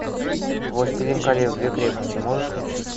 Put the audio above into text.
властелин колец две крепости можешь включить